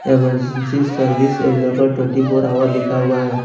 Emergency service available twenty four hour लिखा हुआ है।